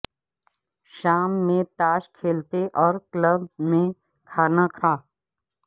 شام میں تاش کھیلتے اور کلب میں کھانا کھا